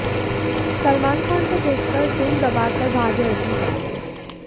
सलमान खान को देखकर दुम दबाकर भागे अर्जुन कपूर